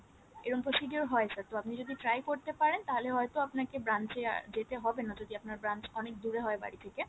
এই রকম procedure হয় sir তো আপনি যদি try করতে পারেন তাহলে হয়তো আপনাকে branch এ যেতে হবেনা যদি আপনার branch অনেক দূরে হয় বাড়ি থেকে